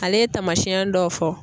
Ale ye taamasiyɛn dɔw fɔ.